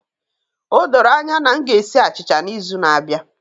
O doro anya na m ga-esi achịcha n'izu na-abịa